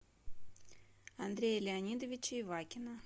андрея леонидовича ивакина